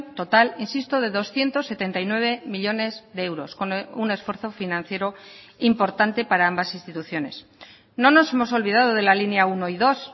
total insisto de doscientos setenta y nueve millónes de euros con un esfuerzo financiero importante para ambas instituciones no nos hemos olvidado de la línea uno y dos